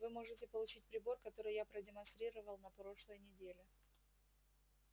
вы можете получить прибор который я продемонстрировал на прошлой неделе